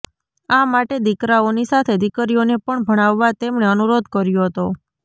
આ માટે દીકરાઓની સાથે દીકરીઓને પણ ભણાવવા તેમણે અનુરોધ કર્યો હતો